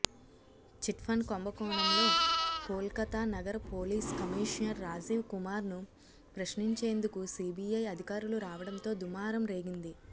చిట్ఫండ్ కుంభకోణంలో కోల్కతా నగర police commissioner Rajiv Kumar ను ప్రశ్నించేందుకు సీబీఐ అధికారులు రావడంతో దుమారం రేగింది